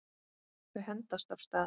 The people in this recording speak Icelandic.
Þau hendast af stað.